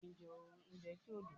Púlójì' jé òkan lára àwọn ohun èlò ìfaná